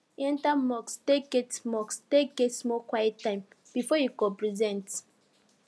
he enter mosque take get mosque take get small quiet time before him go present